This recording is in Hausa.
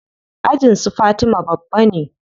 Ajin su fatima babba ne.